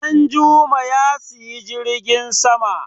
Danjuma Ya siyi jirgin sama.